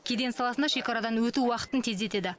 кеден саласында шекарадан өту уақытын тездетеді